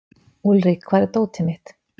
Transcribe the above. Úlrik, hvar er dótið mitt?